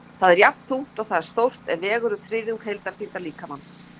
Það er jafnþungt og það er stórt, en vegur um þriðjung heildarþyngdar líkamans.